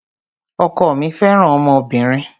Ọkọ mí fẹràn ọmọbìnrin.